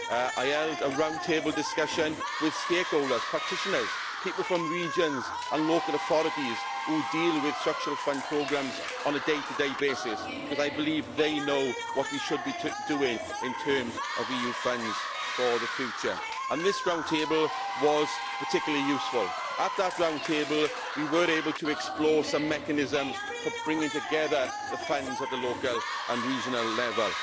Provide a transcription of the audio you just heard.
I held a round table discussion with stakeholders, practitioners, people from regions and local authorities who deal with Structural Fund programmes on a day to day basis, because I believe they know what we should be doing in terms of EU funds for the future. This round table was particularly useful. At it we were able to explore some mechanisms for bringing together the funds at a local and regional level.